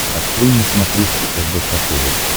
открой на смотрешке рбк тв